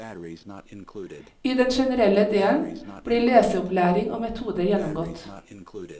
I den generelle delen blir leseopplæring og metoder gjennomgått.